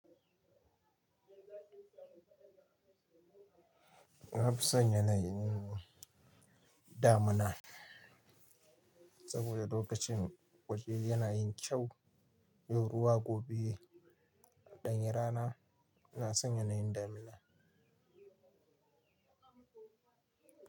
Nafisa yana yin damina saboda lokacin waje yana yin kyau. Ruwa gobe ɗanyi rana ina son yana yin damina.